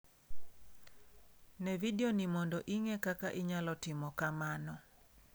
Ne vidioni mondo ing'e kaka inyalo timo kamano.